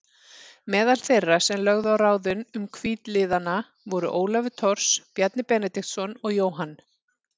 Meðal þeirra sem lögðu á ráðin um hvítliðana voru Ólafur Thors, Bjarni Benediktsson og Jóhann